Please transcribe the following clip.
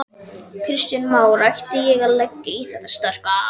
Kristján Már: Ætti ég að leggja í þetta sterka?